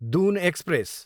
Doon express